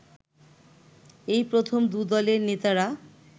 এই প্রথম দু দলের নেতারা